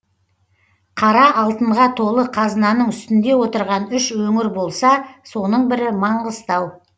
қара алтынға толы қазынаның үстінде отырған үш өңір болса соның бірі маңғыстау